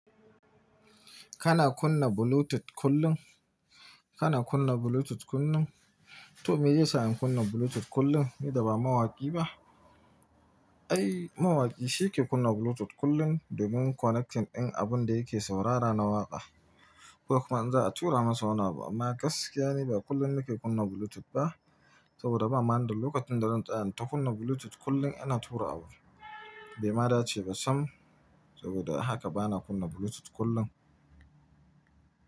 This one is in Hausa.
Kana kunna Bluetooth kullum? Kana kunna Bluetooth kullum? To me ya sa in kunna Bluetooth kullum idan ba mawaƙi ba? Ai, mawaƙi shi ke kunna Bluetooth kullum domin connecting ɗin abun da yake saurara na waƙa. Ko kuma in za a tura masa wani abu amma gaskiya ne ba kullum ni ke kunna Bluetooth ba saboda ba manda lokacin da zan tsaya na kunna Bluetooth kullum ina tura abu. Bai ma dace ba sam saboda haka ba na kunna Bluetooth kullum.